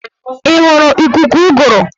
Ị hụrụ ikuku ụgụrụ?